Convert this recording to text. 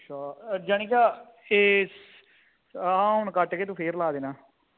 ਅੱਛਾ ਜਾਨੀ ਕ ਆ ਤੂੰ ਕਟ ਕੇ ਫੇਰ ਲਾ ਦੇਣਾ